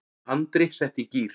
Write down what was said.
Andri setti í gír.